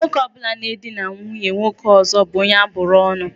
Nwoke ọ bụla na-edina nwunye nwoke ọzọ bụ onye abụrụ ọ́nụ̀.